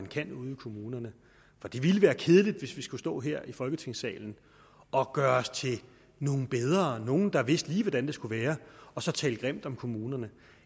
kan ude i kommunerne for det ville være kedeligt hvis vi skulle stå her i folketingssalen og gøre os til nogle der vidste lige hvordan det skulle være og så tale grimt om kommunerne